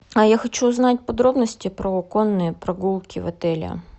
а я хочу узнать подробности про конные прогулки в отеле